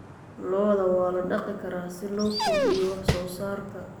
Lo'da waa la dhaqi karaa si loo kordhiyo wax soo saarka.